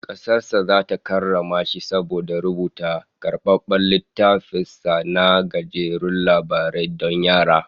Kasar sa ta karrama shi saboda rubuta karbabben littafin sa na gajerun labarai don yara